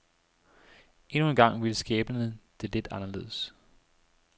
Endnu engang ville skæbnen det lidt anderledes.